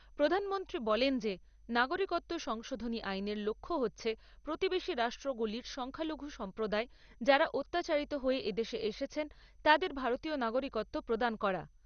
প্রধানমন্ত্রী বলেন যে নাগরিকত্ব সংশোধনী আইনের লক্ষ্য হচ্ছে প্রতিবেশী রাষ্ট্রগুলির সংখ্যালঘু সম্প্রদায় যারা অত্যাচারিত হয়ে এদেশে এসেছেন তাঁদের ভারতীয় নাগরিকত্ব প্রদান করা।